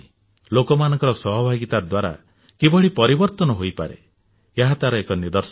ଲୋକମାନଙ୍କ ସହଭାଗୀତା ଦ୍ୱାରା କିଭଳି ପରିବର୍ତ୍ତନ ହୋଇପାରେ ଏହା ତାର ଏକ ନିଦର୍ଶନ